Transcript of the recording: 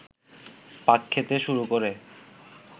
পাক খেতে শুরু করে